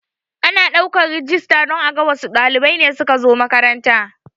Ana ɗaukan rijista don aga wassu ɗalibai ne suka zo makaranta